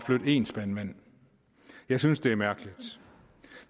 én spand vand jeg synes det er mærkeligt